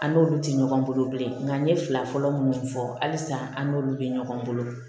An n'olu tɛ ɲɔgɔn bolo bilen nka n ye fila fɔlɔ minnu fɔ hali san an n'olu bɛ ɲɔgɔn bolo